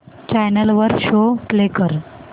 channel वर show play कर